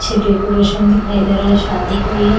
पीछे डेकोरेशन दिखाई दे रहा है शादी का ये --